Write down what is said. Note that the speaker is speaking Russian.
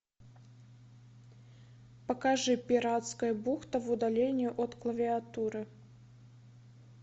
покажи пиратская бухта в удалении от клавиатуры